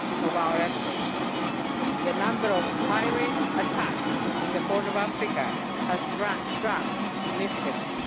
from our efforts. The number of pirate attacks off the Horn of Africa has shrunk significantly.